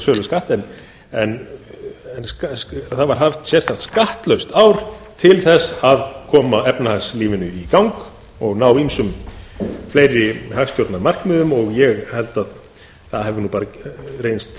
söluskatt en það var haft sérstakt skattlaust ár til þess að koma efnahagslífinu í gang og ná ýmsum fleiri hagstjórnarmarkmiðum ég held að það hafi bara